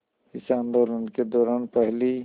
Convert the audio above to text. इस आंदोलन के दौरान पहली